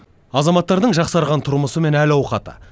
азаматтардың жақсарған тұрмысы мен әл ауқаты